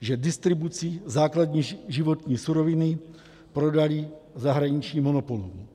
že distribuci základní životní suroviny prodali zahraničním monopolům.